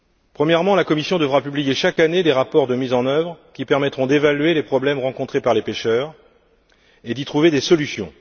Premièrement, la Commission devra publier chaque année des rapports de mise en œuvre qui permettront d'évaluer les problèmes rencontrés par les pêcheurs et d'y trouver des solutions.